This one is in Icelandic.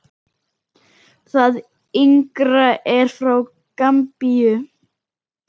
Það yngra er frá Gambíu.